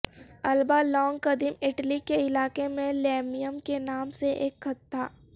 Alba Longa قدیم Italy کے علاقے میں لیمیم کے نام سے ایک خط تھا